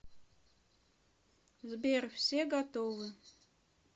сбер все готовы